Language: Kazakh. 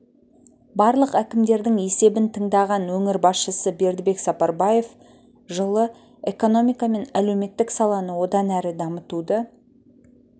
барлық әкімдердің есебін тыңдаған өңір басшысы бердібек сапарбаев жылы экономика мен әлеуметтік саланы одан әрі дамытуды